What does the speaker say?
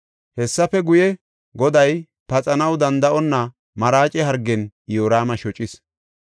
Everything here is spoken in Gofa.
Hessafe guye, Goday paxanaw danda7onna maraace hargen Iyoraama shocis.